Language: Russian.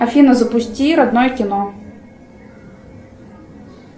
афина запусти родное кино